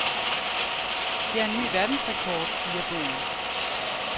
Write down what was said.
Det er en ny verdensrekord, siger bogen.